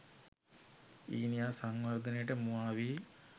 ඊනියා සංවර්ධනයට මුවා වී